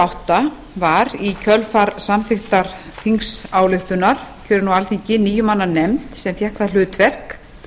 átta var í kjölfar samþykktar þingsályktunar kjörin á alþingi níu manna nefnd sem fékk það hlutverk